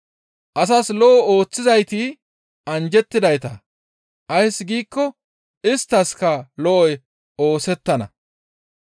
Asas lo7o ooththizayti anjjettidayta; ays giikko isttaskka lo7oy oosettana.